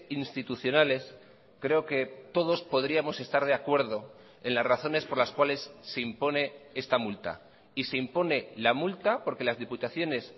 institucionales creo que todos podríamos estar de acuerdo en las razones por las cuales se impone esta multa y se impone la multa porque las diputaciones